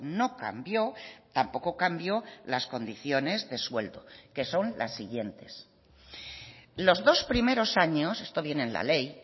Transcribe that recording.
no cambio tampoco cambio las condiciones de sueldo que son las siguientes los dos primeros años esto viene en la ley